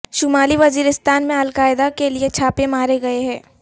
شمالی وزیرستان میں القاعدہ کے لیے چھاپے مارے گئے ہیں